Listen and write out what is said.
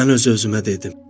Mən öz-özümə dedim.